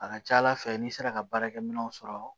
A ka ca ala fɛ n'i sera ka baarakɛminɛnw sɔrɔ